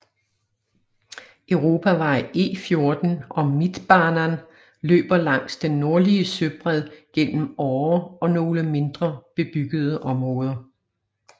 Europavej E14 og Mittbanan løber langs den nordlige søbred gennem Åre og nogle mindre bebyggede områder